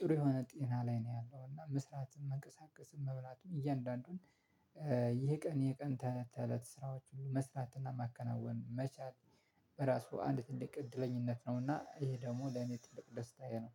ጥሩ የሆነ ጤና ላይ ነው ያለው እና መስራትም መንቀሳቀስን መብላትን እያንዳንዱን። ይሄ ቀን የቀን ተለት ተለት ስራዎችን መስራትና ማከናወን መቻል በራሱ አንድ ትልቅ እድለኛነት ነውና ይሄ ደግሞ ለኔ ትልቅ ደስታዬ ነው።